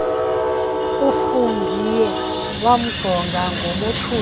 ufungie wamjonga ngomothuko